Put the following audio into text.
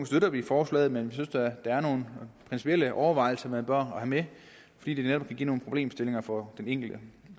støtter vi forslaget men vi synes der er nogle principielle overvejelser man bør have med fordi det netop kan give nogle problemstillinger for den enkelte